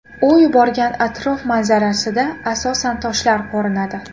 U yuborgan atrof manzarasida asosan toshlar ko‘rinadi.